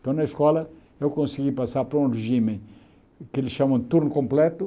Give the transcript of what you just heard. Então, na escola, eu consegui passar por um regime que eles chamam de turno completo.